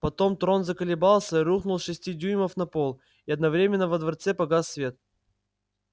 потом трон заколебался и рухнул с шести дюймов на пол и одновременно во дворце погас свет